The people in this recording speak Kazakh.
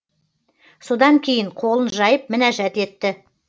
содан кейін қолын жайып мінәжат етті